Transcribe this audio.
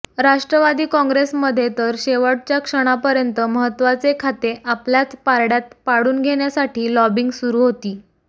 राष्ट्रवादी काँग्रेसमध्ये तर शेवटच्या क्षणापर्यंत महत्त्वाचे खाते आपल्याच पारड्यात पाडून घेण्यासाठी लॉबिंग सुरू होती